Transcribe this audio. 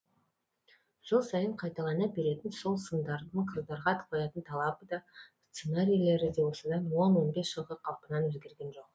жыл сайын қайталана беретін сол сындардың қыздарға қоятын талабы да сценарийлері де осыдан он он бес жылғы қалпынан өзгерген жоқ